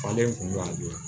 Falen kun bɛ a dun